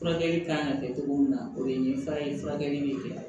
Furakɛli kan ka kɛ cogo min na o ye nin fura in furakɛli bɛ kɛ